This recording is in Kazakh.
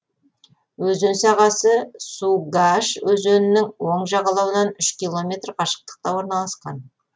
өзен сағасы сугаш өзенінің оң жағалауынан үш километр қашықтықта орналасқан